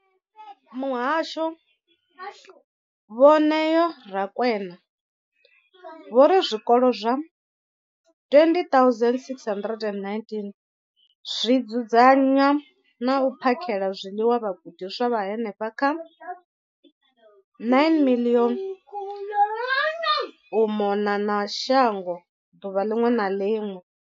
Muhasho, Vho Neo Rakwena, vho ri zwikolo zwa 20 619 zwi dzudzanya na u phakhela zwiḽiwa vhagudiswa vha henefha kha 9 032 622 u mona na shango ḓuvha ḽiṅwe na ḽiṅwe.